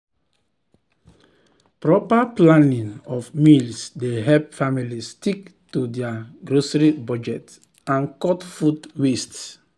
proper planning of meals dey help families stick to dir grocery budget and cut food waste.